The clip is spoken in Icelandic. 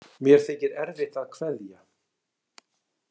Mér þykir erfitt að kveðja.